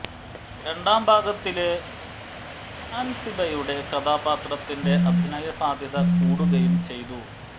രണ്ടാം ഭാഗത്തില് അന്സിബയുടെ കഥാപ്ത്രത്തിന്റെ അഭിനയ സാധ്യത കൂടുകയും ചെയ്തു